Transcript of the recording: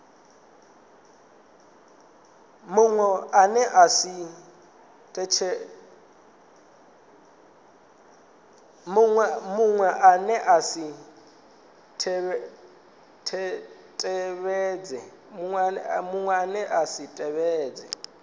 muṅwe ane a si tevhedze